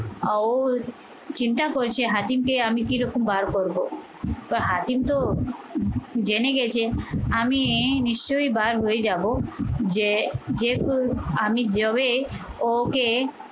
ও চিন্তা করছে হাতিমকে আমি কিরকম বার করবো কিন্তু হাকিম তো জেনে গেছে আমি নিশ্চয়ই বার হয়ে যাবো যে যেহেতু আমি যবে ও ওকে